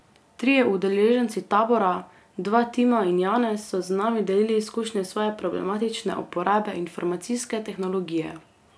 Trije udeleženci tabora, dva Tima in Janez, so z nami delili izkušnje svoje problematične uporabe informacijske tehnologije.